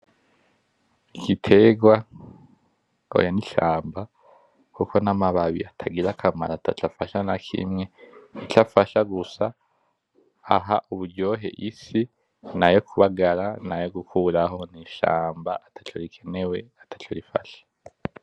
Igiterwa, oya ni ishamba kuko namababi atagira akamaro ataco afasha nakimwe , ico afasha gusa aha uburyohe isi nayo kubagara nayo gukuraho ni ishamba ataco rikenewe ataco rifasha .